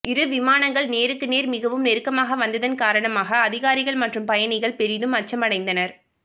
இரு விமானங்கள் நேருக்கு நேர் மிகவும் நெருக்கமாக வந்ததன் காரணமாக அதிகாரிகள் மற்றும் பயணிகள் பெரிதும் அச்சம் அடைந்தனர்